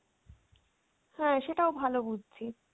হ্যাঁ সেটাও ভালো বুদ্ধি।